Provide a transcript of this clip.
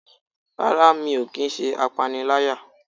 rara, mí o kí n se apáníláyá.